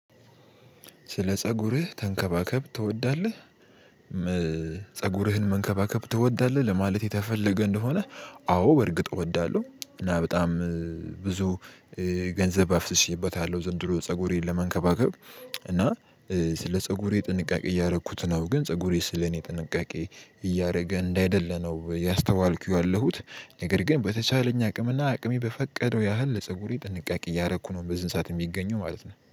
ስለ ፀጉርህ ተንከባከብ ትወዳለህ ፀጉርህን መንከባከብ ትወዳለህ ለማለት የተፈለገ እንደሆነ? አዎ በእርግጥ እወዳለሁ። እና በጣም ብዙ ገንዘብ አፍስሼበታለሁ ዘንድሮ ፀጉሬን ለመንከባከብ። እና ስለ ፀጉሬ ጥንቃቄ እያደረኩት ነው። ግን ፀጉሬ ስለኔ ጥንቃቄ እያደረገ እንዳይደለ ነው ያስተዋልኩ ያለሁት። ነገር ግን በተቻለኝ አቅምና አቅሜ በፈቀደው ያህል ለፀጉሬ ጥንቃቄ እያረኩ ነው። በዚህን ሰዓት የሚገኘው ማለት ነው